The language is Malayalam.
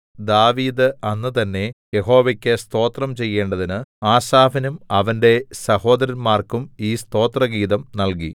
ദാവീദ് അന്ന് തന്നേ യഹോവയ്ക്കു സ്തോത്രം ചെയ്യേണ്ടതിന് ആസാഫിനും അവന്റെ സഹോദരന്മാർക്കും ഈ സ്തോത്രഗീതം നൽകി